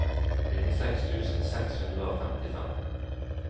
nittiseks tusen seks hundre og femtifem